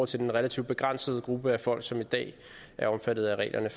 til den relativt begrænsede gruppe af folk som i dag er omfattet af reglerne